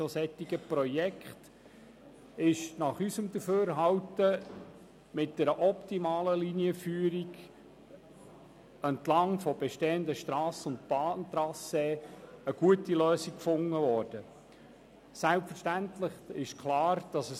Diesbezüglich wurde mit einer optimalen Linienführung entlang bestehender Strassen- und Bahntrassees unseres Erachtens eine gute Lösung gefunden.